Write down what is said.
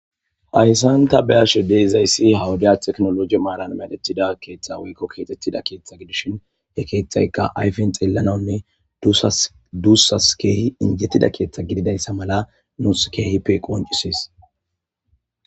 hayssanta be'ashe deizayssi hawuda teknologie maaran medettida keeththa weykko keetettida keeththa gidishin he keeththayka ayfen xeellananne duussas keehi injettida keeththa gididayssa mala noos keehi pe qoncisis